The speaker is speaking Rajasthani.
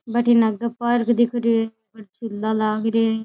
बठे न आगा पार्क दिख रेहो है झूला लाग रिया है।